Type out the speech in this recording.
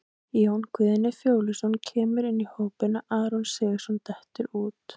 Jón Guðni Fjóluson kemur inn í hópinn og Aron Sigurðarson dettur út.